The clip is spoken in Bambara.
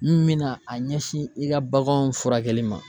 N bɛna a ɲɛsin i ka baganw furakɛli ma.